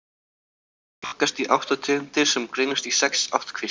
Þeir flokkast í átta tegundir sem greinast í sex ættkvíslir.